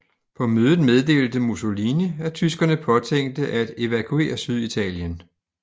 På mødet meddelte Mussolini at tyskerne påtænkte at evakuere Syditalien